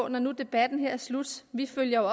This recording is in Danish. når nu debatten her er slut vi følger